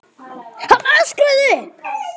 Hann öskraði upp.